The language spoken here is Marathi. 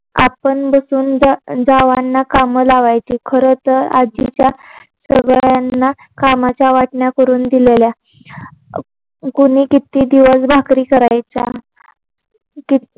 आपण बसून जवानां काम लावायची. खर तर आजीच्या सगळ्यांना कामाच्या वाटण्या करून दिलेल्या. कोणी किती दिवस भाकरी करायच्या. किती